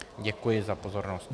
Děkuji za pozornost.